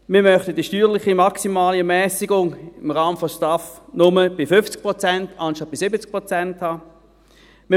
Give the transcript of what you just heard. Wir möchten die steuerliche Maximalermässigung im Rahmen der STAF nur bei 50 Prozent anstatt bei 70 Prozent haben.